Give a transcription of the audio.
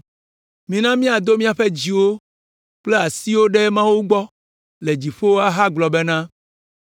Mina míado míaƒe dziwo kple asiwo ɖe Mawu gbɔ le dziƒo ahagblɔ bena: